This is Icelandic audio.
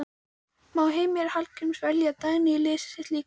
Má Heimir Hallgríms velja Dagný í liðið sitt líka?